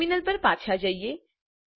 terminal પર પાછા જઈએ